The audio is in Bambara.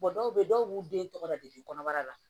dɔw bɛ yen dɔw b'u den tɔgɔ la de kɔnɔbara la